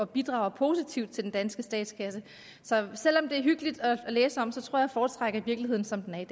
bidrager positivt til den danske statskasse så selv om det er hyggeligt at læse om tror jeg foretrækker virkeligheden som den er